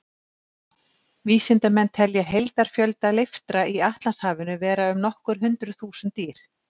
Vísindamenn telja heildarfjölda leiftra í Atlantshafinu vera um nokkur hundruð þúsund dýr.